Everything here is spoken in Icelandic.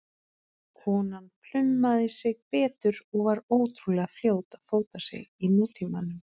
Konan plumaði sig betur og var ótrúlega fljót að fóta sig í nútímanum.